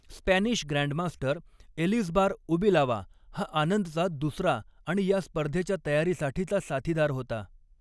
Spanish grandmaster Elizbar Ubilava हा आनंदचा दुसरा आणि या स्पर्धेच्या तयारीसाठीचा साथीदार होता.